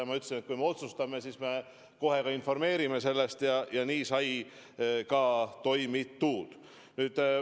Ja ma ütlesin, et kui me otsustame, siis me kohe ka informeerime sellest, ja nii sai ka toimitud.